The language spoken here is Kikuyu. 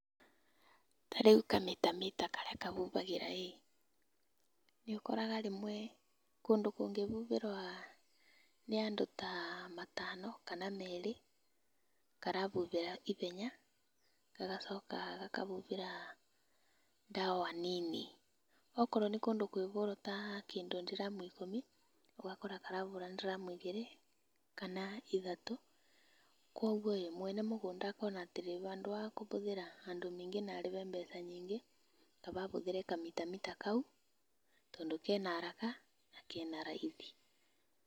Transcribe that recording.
Ta rĩu kamitamita karia kahuhagĩra ĩ nĩũkoraga rĩmwe kũndũ kũngĩhuhĩrwo nĩ andũ ta matano kana merĩ karahuhĩra ihenya gagacoka gakahuhĩra ndawa nini. Akorwo nĩ kũndũ kũngĩhũrwo kĩndũ ta ndiramu ikũmi ũgakora karahũra ndiramu igĩrĩ kana ithatũ. Koguo mwene mũgũnda akona atĩrĩrĩ handũ ha kũhũthĩra andũ aingĩ na ahũthĩre mbeca nyingĩ kaba ahũtĩre kamitamita kau tondũ kena haraka na kena raithi.